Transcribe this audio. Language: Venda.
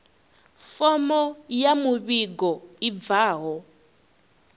fomo ya muvhigo i bvaho